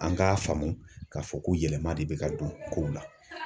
An k'a faamu k'a fɔ ko yɛlɛma de bɛ ka don kow la.